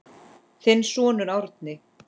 Þinn sonur Árni.